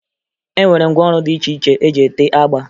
E nwere ngwaọrụ dị iche iche eji ete agba